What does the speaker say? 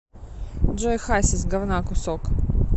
джой хасис гавна кусок